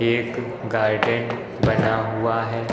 एक गार्डेन बना हुआ है।